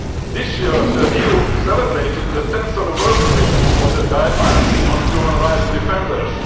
human rights cannot exist without them. This year the EU celebrated the 10th anniversary of its